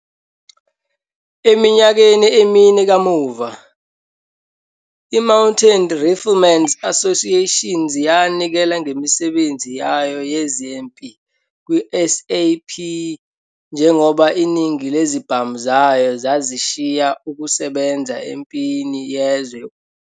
Eminyakeni emine kamuva, i-Mounted Riflemen's Association yanikela ngemisebenzi yayo yezempi kwi-SAP njengoba iningi lezibhamu zayo zazishiya ukusebenza eMpini Yezwe Yokuqala.